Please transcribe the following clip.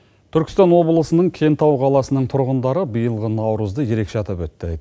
түркістан облысының кентау қаласының тұрғындары биылғы наурызды ерекше атап өтті